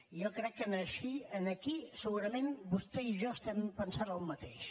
i jo crec que aquí segurament vostè i jo estem pensant el mateix